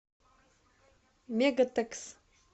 мегатекс